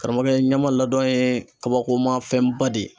Karamɔgɔkɛ ɲɛma ladɔn ye kabakoma fɛnba de ye